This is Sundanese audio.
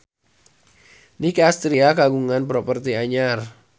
Nicky Astria kagungan properti anyar